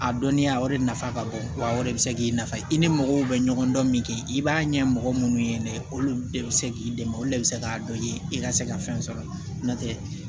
A dɔnniya o de nafa ka bon wa o de bɛ se k'i nafa i ni mɔgɔw bɛ ɲɔgɔn dɔn min kɛ i b'a ɲɛ mɔgɔ minnu ye de olu de bɛ se k'i dɛmɛ olu de bɛ se k'a dɔn i ka se ka fɛn sɔrɔ n'o tɛ